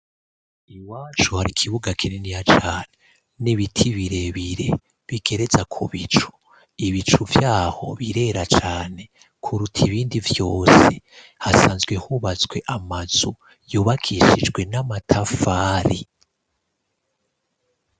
Iwacu hari kibuga kininya cane n'ibiti birebire bigereza ku bicu. Ibicu vyaho birera cane kuruta ibindi vyose. Hasanzwe hubatswe amazu yobakishijwe n'amatafari.